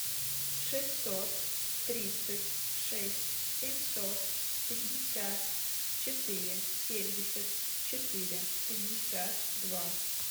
шестьсот тридцать шесть семьсот пятьдесят четыре семьдесят четыре пятьдесят два